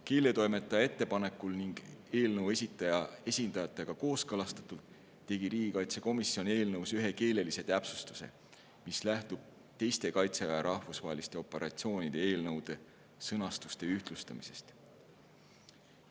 Keeletoimetaja ettepanekul ja eelnõu esitaja esindajatega kooskõlastatult tegi riigikaitsekomisjon eelnõus ühe keelelise täpsustuse, mis lähtub teiste Kaitseväe rahvusvaheliste operatsioonide eelnõude sõnastuste ühtlustamisest.